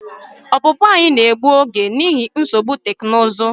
Ọpụpụ anyị na-egbu oge n'ihi nsogbu teknụzụ.